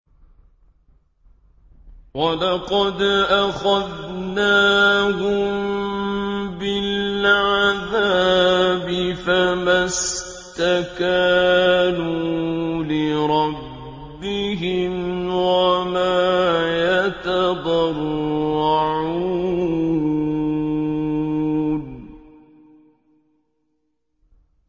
وَلَقَدْ أَخَذْنَاهُم بِالْعَذَابِ فَمَا اسْتَكَانُوا لِرَبِّهِمْ وَمَا يَتَضَرَّعُونَ